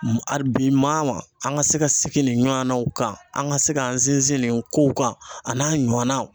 A bi maa maa an ka se ka segin nin ɲɔgɔnnaw kan, an ka se k'an sinsin nin kow kan a n'a ɲɔnan